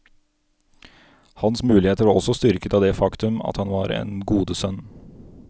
Hans muligheter var også styrket av det faktum at han var en godesønn.